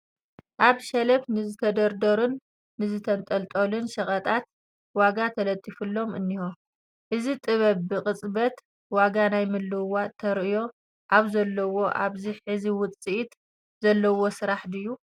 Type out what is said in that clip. ኣብ ሸልፍ ንዝተደርደሩን ዝተንጠልጠሉን ሸቐጣት ዋጋ ተለጢፉሎም እኒሆ፡፡ እዚ ጥበብ ብቕፅበት ዋጋ ናይ ምልውዋጥ ተርእዮ ኣብዘለዎ ኣብዚ ሕዚ ውፅኢት ዘለዎ ስራሕ ድዩ?